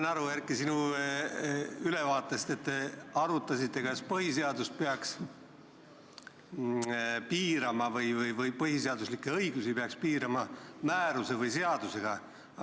Ma sain, Erki, sinu ülevaatest aru, et te arutasite, kas põhiseaduslikke õigusi peaks piirama määruse või seadusega.